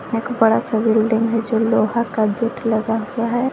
एक बड़ा सा बिल्डिंग जो लोहा का गेट लगा हुआ है।